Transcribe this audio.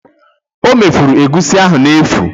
O mefuru egusi ahụ n'efu